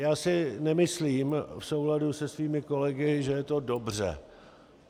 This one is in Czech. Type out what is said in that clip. Já si nemyslím, v souladu se svými kolegy, že je to dobře.